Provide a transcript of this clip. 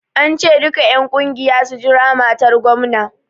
An ce duka en ƙungiya su jira matar gomna!